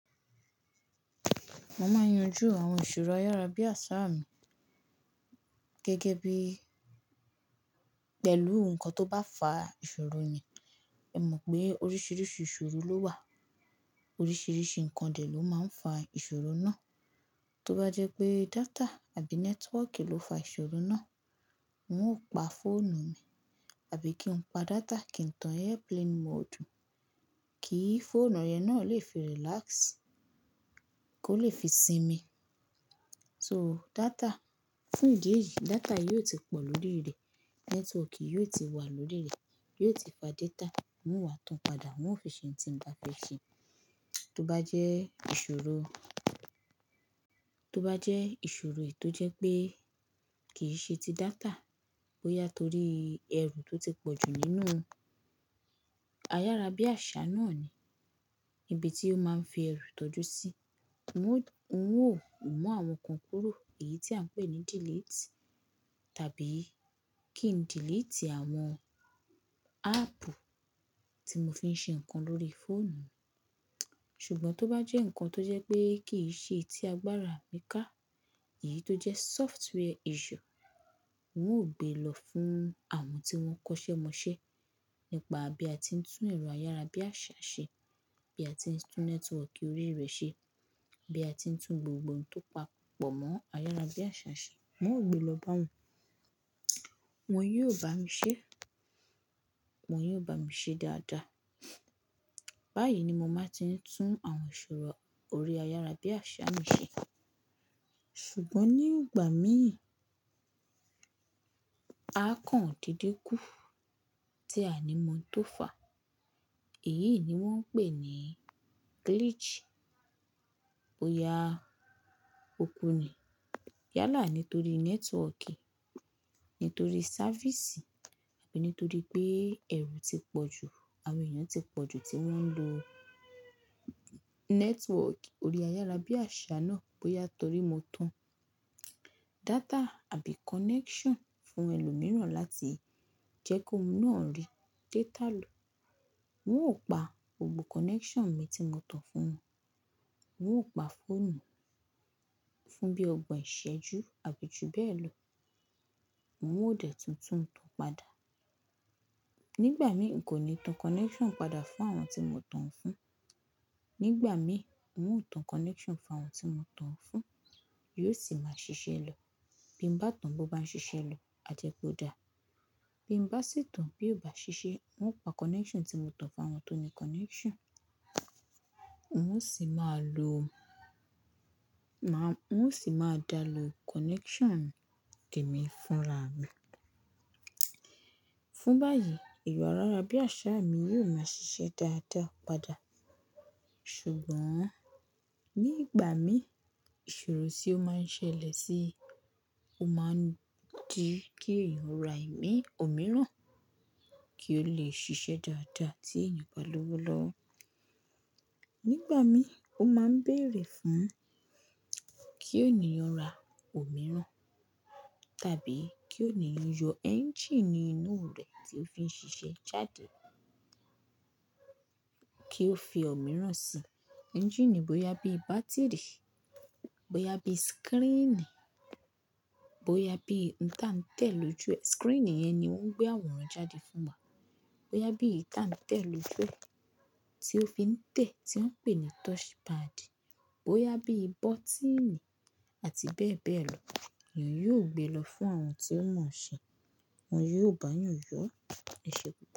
Mo máa ń yanju àwọn ìṣòro ayárábiàsà mi gẹ́gẹ́ bí pẹ̀lú nǹkan tó bá fa ìṣòro yẹn. Ẹ mọ̀ pé oríṣiríṣi ìṣòro ló wà, oríṣiríṣi nǹkan dẹ̀ ló máa ń fa ìṣòro náà. Tó bá jẹ́ pé data àbí network ló fa ìṣòro náà, nn ó pa fóònù mi àbí kí n pa data kí n tan airplane mode kí fóònù yẹn náà lè fi relax, kó lè fi sinmi. So data, fún ìdí èyí data yóò ti pọ̀ lórí rẹ̀, network yóò ti wà lórí rẹ̀, yóò ti fa data, nno wà tán padà, nnò fi ṣe ohun tí n bá fẹ̀ ṣe. Tó bá jẹ́ ìṣòro, tó bá jẹ́ ìṣòro è tó jẹ́ pé kì í ṣe ti data, bóyá torí ẹrù tó ti pọ̀jù nínú ayárábiàsà náà ni, ibi tí ó máa ń fi ẹrù tọ́jú sí, nnó, mun àwọn kan kúrò, èyí tí à ń pè ní delete, tàbí kí n delete àwọn app tí mo fi ń ṣe nǹkan lórí fóònù. Ṣùgbọ́n tó bá jẹ́ ǹkan tó jẹ́ pé kì í ṣe ti agbára mi ká, èyí tó jẹ́ software issue, wọn ó gbé lọ fún àwọn tí wọ́n kọ́ṣẹ́ mọṣẹ́ nípa bí a ti ń tún ẹ̀rọ ayárábiàsà ṣe, bí a ti ń tún network orí rẹ̀ ṣe, bí a ti ń tún gbogbo ohun tó pa pọ̀ mọ́ ayárábiàsà ṣe, nnó gbé lọ bá wọn, wọn yóò bá mi ṣe, wọn yóò bá mi ṣe dáadáa. Báyìí ni mo máa ti ń tún àwọn ìṣòro orí ayárábiàsà mi ṣe. Ṣùgbọ́n nígbà mìíràn, a kàn dídínkù tí a ò mọ̀ ntó fà, èyí ni wọ́n ń pè ní glitch. Bo ya kúkú ni. Yálà nítorí network, nítorí sáfísì àbí nítorí pé ẹrù ti pọ̀jù, àwọn èèyàn ti pọ̀jù tí wọ́n ń lo network orí ayárábiàsà náà, bóyá torí mo tan data àbí connection fún ẹlòmíràn láti jẹ́ kó hún náà rí data lò. Nn ó pa gbogbo connection mi tí mo tan fún wọn, nn ó pa fóònù fún bí ọgbọ̀n ìṣẹ́jú àbí ju bẹ́ẹ̀ lọ. Nn ò dẹ̀ tún túún tán padà. Nígbà mìíràn, kò ní tan connection padà fún àwọn tí mo tan fún. Nígbà mìíràn, wọn ó tan connection fún àwọn tí mo tan fún, yóò sì máa ṣiṣẹ́ lọ. Bí mbá tàn bó bá ń ṣiṣẹ́ lọ, ajẹ̀ pòdà. Bí mbá sì tàn bió bá ṣiṣẹ́, nno pa connection tí mo tan fún àwọn tó ní connection, nn ó sì máa da lo, má, nn ó sì máa dá ló connection temi fúnra mi. Fún báyìí, ẹ̀rọ ayárábiàsà mi yóò máa ṣiṣẹ́ dáadáa padà. Ṣùgbọ́n nígbà mìíràn, ìṣòro tí ó máa ń ṣẹlẹ̀ sí i, ó máa ń di kí èèyàn rà ì mi ò mìíràn kí ó lè ṣiṣẹ́ dáadáa tí èèyàn bá lowo lọwọ̀. Nígbà mìíràn ó máa ń bèèrè fún kí èèyàn rá ò mìíràn, tàbí kí èèyàn yọ engine inú rẹ̀ tí ó fi ń ṣiṣẹ́ jáde kí ó fi òmíràn sí i. Engine bóyá bí bátìrì, bóyá bí screen, bóyá bí ǹkan ta ń tẹ̀ lo jú ẹ. Screen yẹn ni ó ń gbé àwòrán jáde fún wa. Bóyá bí ìta ń tẹ̀ lo fún ẹ tí ó fi ń tẹ̀ tí wọ́n ń pè ní touchpad, bóyá bí bọ́tíìnì àti bẹ́ẹ̀ bẹ́ẹ̀ lọ, èèyàn yóò gbé lọ fún àwọn tí ó mọ̀ ọ́n ṣe, wọn yóò bá yàn yọ ọ́, ẹ̀ṣé pupọ̀.